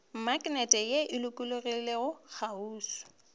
maknete ye e lokologilego kgauswi